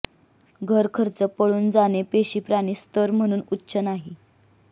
घर खर्च पळून जाणे पेशी प्राणी स्तर म्हणून उच्च नाही